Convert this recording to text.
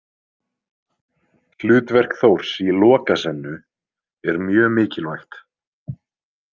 Hlutverk Þórs í Lokasennu er mjög mikilvægt.